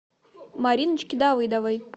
мариночки давыдовой